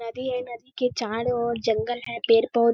नदी है नदी के चारों ओर जंगल है पेड़-पौधा --